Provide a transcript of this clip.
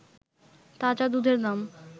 তাজা দুধের দাম